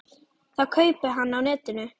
Það kaupi hann á netinu.